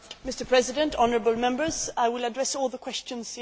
Mr President, honourable Members, I will address all the questions.